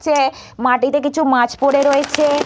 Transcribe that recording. চে মাটিতে কিছু মাছ পরে রয়েছে--